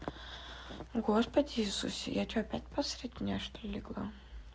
господи иисусе я что опять по среди дня что-ли легла